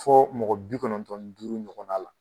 Fɔ mɔgɔ bi kɔnɔntɔn ni duuru ɲɔgɔn na la